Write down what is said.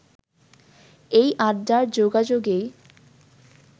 এই আড্ডার যোগাযোগেই